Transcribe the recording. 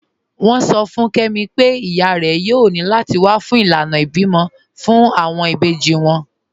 Wọn sọ̀ fún Kẹmi pẹ̀ iyá rẹ̀ yòò ní láti wà fún ilànà ìbímọ̀ fún awọn ìbèjì wọn.